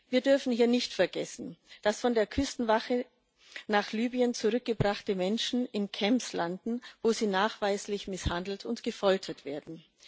Wir dürfen ja nicht vergessen, dass von der Küstenwache nach Libyen zurückgebrachte Menschen in Camps landen, wo sie nachweislich misshandelt und gefoltert werden.